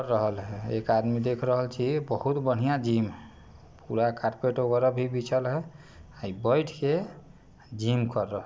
रहल हैं एक आदमी दिख रहा छी बोहोत बढ़िया जिम हैं। पूरा कारपेट वगेरा भी बीछेला हैं बइठ के जिम कर रहा--